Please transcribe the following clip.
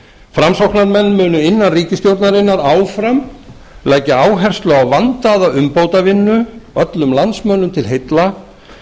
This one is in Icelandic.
framsóknarmenn munu innan ríkisstjórnarinnar áfram leggja áherslu á vandaða umbótavinnu öllum landsmönnum til heilla